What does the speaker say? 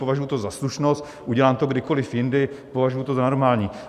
Považuji to za slušnost, udělám to kdykoliv jindy, považuji to za normální.